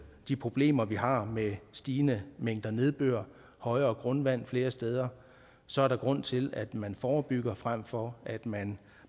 de problemer vi har med stigende mængder nedbør højere grundvand flere steder så er der grund til at man forebygger frem for at man